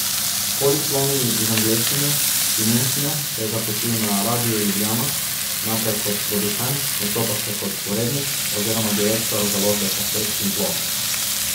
Po diplomi iz angleščine in nemščine se je zaposlil na Radiu Ljubljana, najprej kot producent, nato pa še kot urednik oziroma direktor Založbe kaset in plošč.